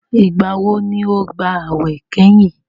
Ìgbà wo ni o gbàwè kẹ́yìn?